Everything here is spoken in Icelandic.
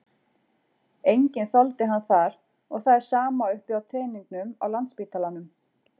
Enginn þoldi hann þar og það er sama uppi á teningnum á Landspítalanum.